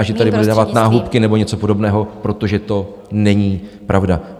A že tady bude dávat náhubky nebo něco podobného, protože to není pravda.